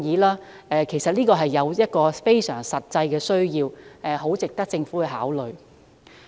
律師服務是非常實際的需要，所以我的建議十分值得政府考慮。